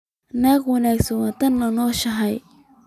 Naag wanaagsan waa tan aad la nooshahay